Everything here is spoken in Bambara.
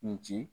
N ci